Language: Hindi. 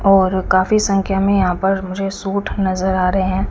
और काफी संख्या में यहां पर मुझे सूट नजर आ रहे हैं।